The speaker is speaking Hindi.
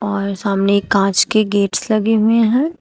हमारे सामने कांच के गेट्स लगे हुए हैं।